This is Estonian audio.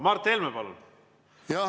Mart Helme, palun!